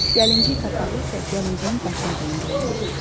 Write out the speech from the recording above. Gəlinciq papağı isə gəlinciyin başına geyindirilmişdi.